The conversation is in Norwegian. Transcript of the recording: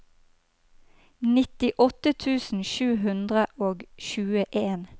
nittiåtte tusen sju hundre og tjueen